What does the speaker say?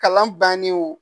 Kalan bannen wo.